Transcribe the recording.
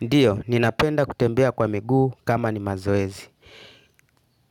Ndiyo, ninapenda kutembea kwa miguu kama ni mazoezi.